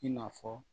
I n'a fɔ